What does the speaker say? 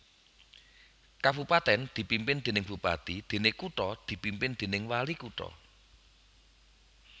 Kabupatèn dipimpin déning bupati déné kutha dipimpin déning walikutha